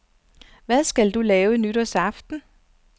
Hvad skal du lave nytårsaften?